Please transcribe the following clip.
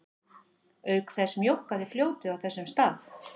Auk þess mjókkaði fljótið á þessum stað